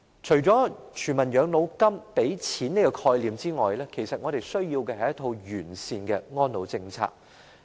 除了全民養老金這個提供經濟資助的概念外，其實我們需要的是一套完善的安老政策。